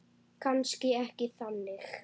Kannski ekki þannig.